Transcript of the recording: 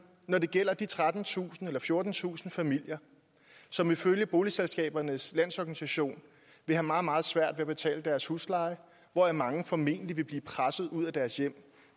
når det gælder de trettentusind fjortentusind familier som ifølge boligselskabernes landsorganisation vil have meget meget svært ved at betale deres husleje og hvoraf mange formentlig vil blive presset ud af deres hjem